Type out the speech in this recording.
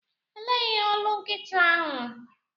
Elee ihe olu nkịta ahụ?